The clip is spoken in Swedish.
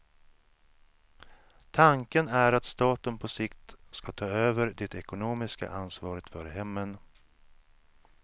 Tanken är att staten på sikt ska ta över det ekonomiska ansvaret för hemmen.